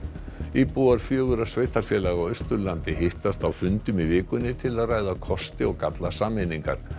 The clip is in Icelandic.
íbúar fjögurra sveitarfélaga á Austurlandi hittast á fundum í vikunni til að ræða kosti og galla sameiningar